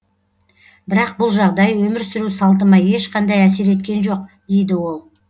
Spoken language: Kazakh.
бірақ бұл жағдай өмір сүру салтыма ешқандай әсер еткен жоқ дейді ол